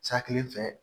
Sa kelen fɛ